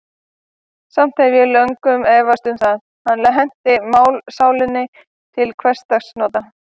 Samt hef ég löngum efast um, að hann henti mannssálinni til hversdagsnota.